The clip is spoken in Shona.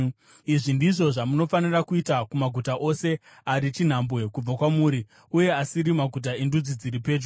Izvi ndizvo zvamunofanira kuita kumaguta ose ari chinhambwe kubva kwamuri uye asiri maguta endudzi dziri pedyo.